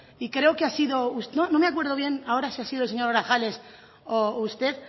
y creo que ha sido no me acuerdo bien ahora si ha sido el señor grajales o usted